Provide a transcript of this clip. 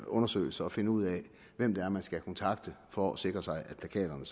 undersøgelse at finde ud af hvem det er man skal kontakte for at sikre sig at plakaterne